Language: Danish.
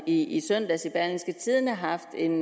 i søndags i berlingske tidende har haft en